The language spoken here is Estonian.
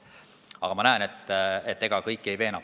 Aga ma näen, et ega ma kõiki ei veena.